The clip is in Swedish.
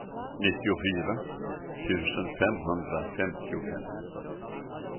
nittiofyra tusen femhundrafemtiofem